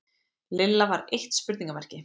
Lilla var eitt spurningarmerki.